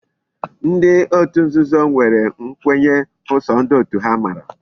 Ndi otu nzuzo nwere nkwenye bu so ndi otu ha mara